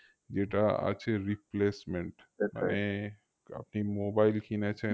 যেটা আছে replacement আপনি mobile কিনেছেন